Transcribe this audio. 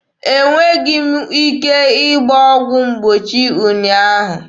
E nweghị m ike gbaa ọgwụ mgbochi ụnyaahụ.